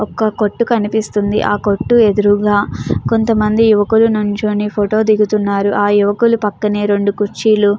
ఒక కొట్టు కనిపిస్తుంది ఆ కొట్టు ఎదురుగా కొంతమంది యువకులు నుంచుని ఫోటో దిగుతున్నారు ఆ యువకులు పక్కనే రెండు కుర్చీలు --